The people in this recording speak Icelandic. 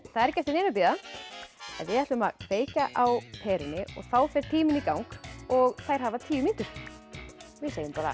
það er ekki eftir neinu að bíða við ætlum að kveikja á perunni og þá fer tíminn í gang og þær hafa tíu mínútur við segjum bara